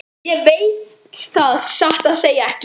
Ég veit það satt að segja ekki.